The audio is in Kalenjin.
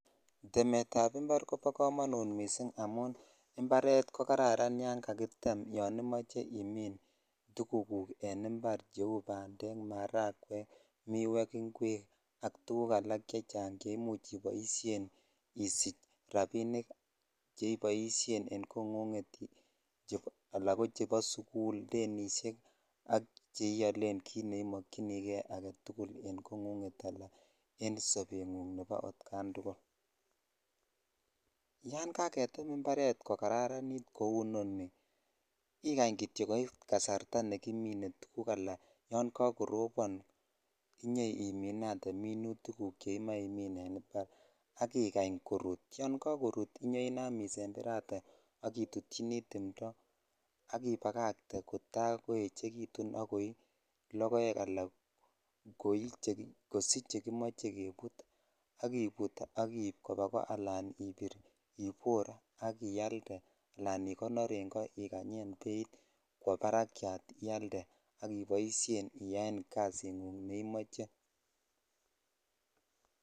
Temetab mbar kobokomonut missing amun mbaret kokararan yongakitem yon imoche imin tukuk en mbar cheu bandek, marakwek, miwek, ngwek ak tukuk alak chechang chemuch iboisien isich rapinik cheiboisien en kong'ung'et ala kochepo sugul denishek ak cheialen kit neimokyinige aketugul en kong'ung'et en sobeng'ung atkan tugul, yangaketem mbaret kokararanit kou ineni ikany kityo koit kasarta nekimine tukuk alan yongokoropon inyoiminate minutikuk cheimoe imin en mbar akikany korut ,yongokorut inyoinam isemberate akitutchini timto akipakakte kotakoechekitu akoi logoek alan kosich chekimoche keput akiput akiib kopaa koo alan ibir ibor akialde alan ikonor en ko ikanyen beit kwo parakiat ialde akiboisien iyaen kasing'ung neimoche.